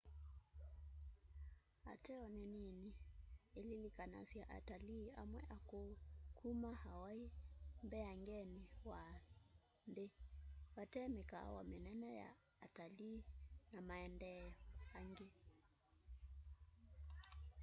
ateo nî nini ililikanasya atalii amwe akûû kuma hawaii mbeangenî wa nthî vate mîkaawa mînene ya atalii na maendeeo angî